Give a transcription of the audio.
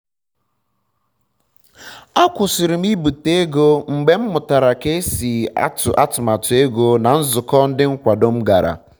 akwụsịrị m ibite ego mgbe m mụtara ka esi atụ atụmatụ ego na nzụkọ ndi nkwado m gara